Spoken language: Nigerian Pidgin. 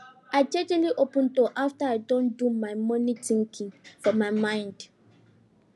i jejely open door afta i don do my mornin thinking for my mind